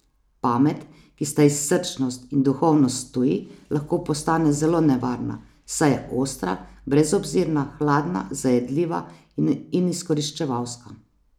Pamet, ki sta ji srčnost in duhovnost tuji, lahko postane zelo nevarna, saj je ostra, brezobzirna, hladna, zajedljiva in izkoriščevalska.